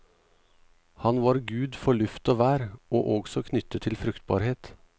Han var gud for luft og vær, og også knyttet til fruktbarhet.